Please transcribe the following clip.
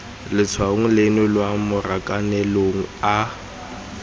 letshwaong leno lwa marakanelong a